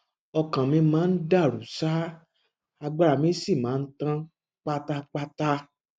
ọkàn mi máa ń dàrú ṣáá agbára mi sì máa ń tán pátápátá